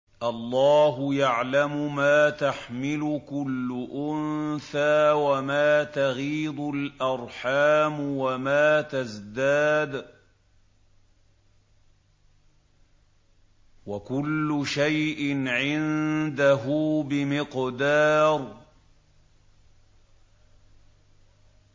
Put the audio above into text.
اللَّهُ يَعْلَمُ مَا تَحْمِلُ كُلُّ أُنثَىٰ وَمَا تَغِيضُ الْأَرْحَامُ وَمَا تَزْدَادُ ۖ وَكُلُّ شَيْءٍ عِندَهُ بِمِقْدَارٍ